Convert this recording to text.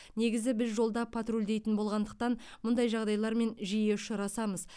негізі біз жолда патрульдейтін болғандықтан мұндай жағдайлармен жиі ұшырасамыз